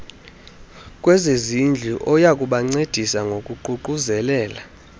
kwezezindlu oyakubancedisa ngokuququzelela